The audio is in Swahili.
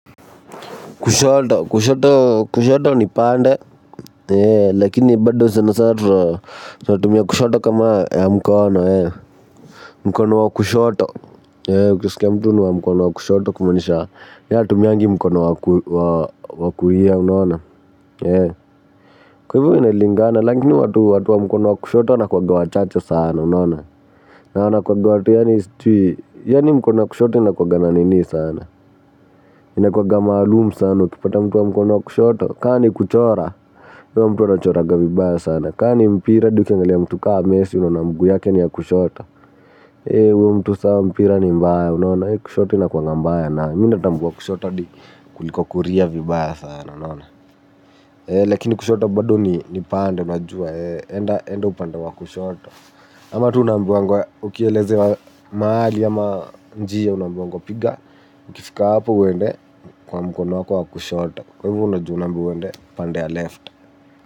Kushoto, kushoto, kushoto ni pande, lakini bado sena sana, tumia kushoto kama ya mkono, mkono wa kushoto, ukusikia mtu nwa mkono wa kushoto kumaanisha, yeye hatumii mkono wa kulia, unaona, kwa hivyo inalingana, lakini watu wa mkono wa kushoto wanakuwaga wachache sana, unaona. Na wana kuwaga watu yani sijui yani mkona ya kushoto ina kuwaga na nini sana inakuwaga maalum sana ukipata mtu wa mkono wa kushoto kama ni kuchora huyo mtu huwa anachoraga vibaya sana, kama ni mpira hadi ukiangalia mtu kama messi unaona mguu yake ni ya kushoto. Ewe huyo mtu sasa mpira ni mbaya unaona. Kushoto ina kuwanga mbaya nayo Mimi natambua kushoto hadi kuliko kulia vibaya sana unaona. Eee lakini kushoto bado ni pande unajua. Eee enda upanda wa kushoto. Ama tu naambiwangwa ukielezewa mahali ama njia unambiwangwa piga. Ukifika hapo uende kwa mkono wako wakushota. Kwa hivyo unajua unaambiwa wende panda ya left.